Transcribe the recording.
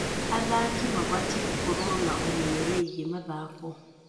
Athaki mabatiĩ gũkorwo na ũmenyo wĩgiĩ mathako.